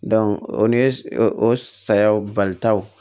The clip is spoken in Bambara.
o ni o sayaw bali taw